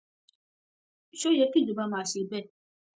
ṣó yẹ kí ìjọba máa ṣe bẹẹ